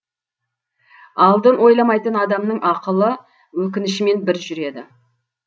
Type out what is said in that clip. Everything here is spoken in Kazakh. алдын ойламайтын адамның ақылы өкінішімен бір жүреді